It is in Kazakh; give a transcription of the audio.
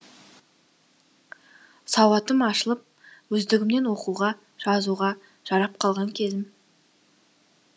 сауатым ашылып өздігімнен оқуға жазуға жарап қалған кезім